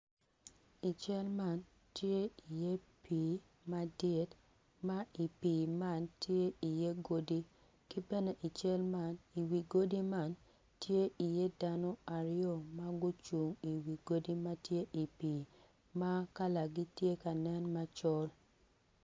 I cal man ti iye pii madit ma i pii man ti iye godi ki bene i cal man i wi godi man tye iye dano aryo ma gucung i wi godi ma tye i wi pii ma kalagi tye ka nen macol